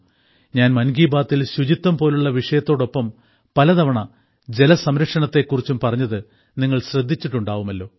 ഞാൻ മൻ കി ബാത്തിൽ ശുചിത്വം പോലുള്ള വിഷയത്തോടൊപ്പം പലതവണ ജലസംരക്ഷണത്തെ കുറിച്ചും പറഞ്ഞത് നിങ്ങൾ ശ്രദ്ധിച്ചിട്ടുണ്ടാവുമല്ലോ